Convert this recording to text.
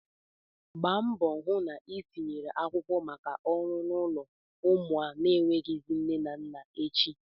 Gba mbọ hụ na ị tinyere akwụkwọ maka ọrụ n'ụlọ ụmụ na-enweghịzị nne na nna echi!